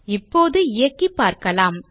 இப்போது இயக்கி பார்க்கலாம்